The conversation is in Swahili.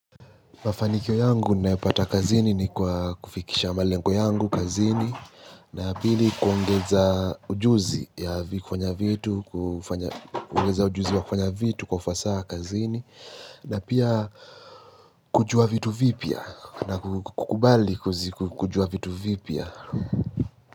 Mafanikyo yangu naepata kazini ni kwa kufikisha malengo yangu kazini na pili kuongeza ujuzi ya kufanya vitu kufanya ujuzi wa kufanya vitu kufasa kazini na pia kujua vitu vipia na kukubali kujua vitu vipia.